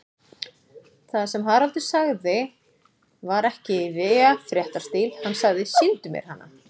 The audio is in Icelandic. Það sem Haraldur sagði var ekki í véfréttarstíl, hann sagði: Sýndu mér hana.